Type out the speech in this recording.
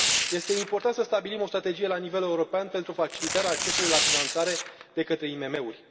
Este important să stabilim o strategie la nivel european pentru facilitarea accesului la finanțare de către IMM uri.